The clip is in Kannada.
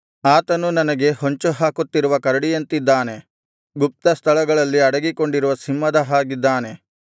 ಆತನು ನನಗೆ ಹೊಂಚುಹಾಕುತ್ತಿರುವ ಕರಡಿಯಂತಿದ್ದಾನೆ ಗುಪ್ತಸ್ಥಳಗಳಲ್ಲಿ ಅಡಗಿಕೊಂಡಿರುವ ಸಿಂಹದ ಹಾಗಿದ್ದಾನೆ